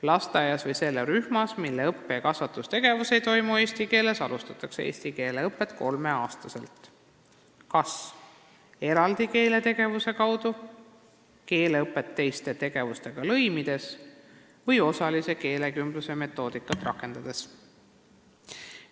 Lasteaias või rühmas, mille õppe- ja kasvatustegevus ei toimu eesti keeles, alustatakse eesti keele õpet kolmeaastastele lastele kas eraldi keeletegevuse kaudu, keeleõpet teiste tegevustega lõimides või osalise keelekümbluse metoodikat rakendades.